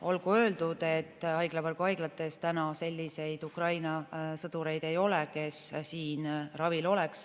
Olgu öeldud, et haiglavõrgu haiglates selliseid Ukraina sõdureid praegu ei ole, kes oleks siin ravil.